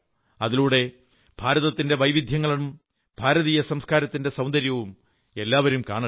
അതിലൂടെ ഭാരതത്തിന്റെ വൈവിധ്യങ്ങളും ഭാരതീയ സംസ്കാരത്തിന്റെ സൌന്ദര്യവും എല്ലാവരും കാണട്ടെ